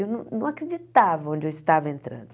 Eu não não acreditava onde eu estava entrando.